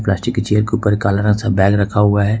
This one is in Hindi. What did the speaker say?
नीचे की के चेयर के ऊपर काला रंग का बैग रखा हुआ है।